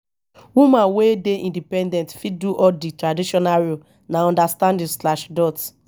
woman wey dey independent fit do all di traditional roles na understanding.